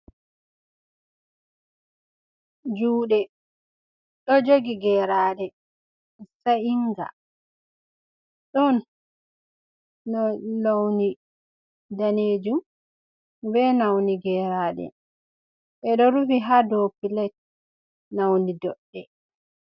Juuɗe ɗo jogi geeraaɗe sa'iinga, ɗon no lawni daneejum be nawni geeraaɗe, ɓe ɗo rufi haa dow pilat nawni doɗɗe.